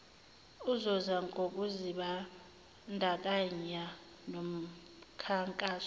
uzuza ngokuzibandakanya nomkhankaso